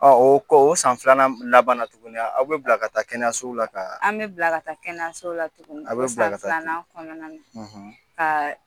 O kɔ o san filanan labanan tuguni aw bɛ bila ka taa kɛnɛyaso la ka, an bɛ bila ka taa kɛnɛyaso la tuguni, a bɛ bila ka taa, filanan kɔnɔna.